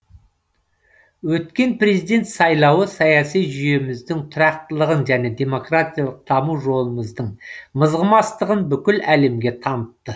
өткен президент сайлауы саяси жүйеміздің тұрақтылығын және демократиялық даму жолымыздың мызғымастығын бүкіл әлемге танытты